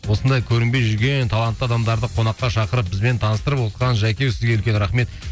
осындай көрінбей жүрген талантты адамдарды қонаққа шақырып бізбен таныстырып отқан жәке еу сізге үлкен рахмет